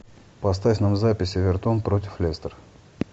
поставь нам запись эвертон против лестер